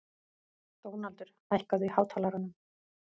Dónaldur, hækkaðu í hátalaranum.